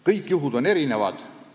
" Kõik juhtumid on erinevad.